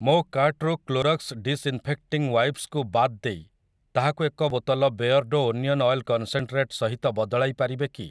ମୋ କାର୍ଟ୍‌ରୁ Clorox disinfecting wipes କୁ ବାଦ ଦେଇ ତାହାକୁ ଏକ ବୋତଲ ବେୟର୍ଡ଼ୋ ଓନିଅନ୍ ଅଏଲ୍ କନ୍‌ସେନ୍‌ଟ୍ରେଟ୍‌ ସହିତ ବଦଳାଇ ପାରିବେ କି